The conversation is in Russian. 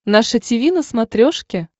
наше тиви на смотрешке